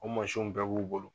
U mansinw bɛɛ b'u bolo